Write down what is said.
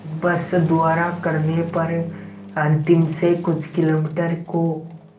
बस द्वारा करने पर अंतिम से कुछ किलोमीटर को